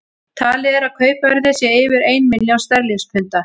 Talið er að kaupverðið sé yfir ein milljón sterlingspunda.